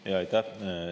Aitäh!